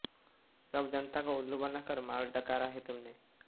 सब जनता को उल्लू बनाकर माल डकारा है तुमने